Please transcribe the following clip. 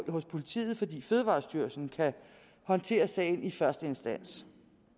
hos politiet fordi fødevarestyrelsen kan håndtere sagen i første instans